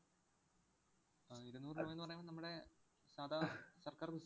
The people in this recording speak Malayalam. ആഹ് ഇരുന്നൂറ് രൂപ എന്ന് പറയുന്നത് നമ്മുടെ സാദാ സര്‍ക്കാര്‍ bus